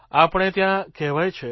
આપણે ત્યાં કહેવાય છે